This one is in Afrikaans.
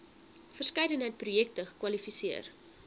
verskeidenheid projekte kwalifiseer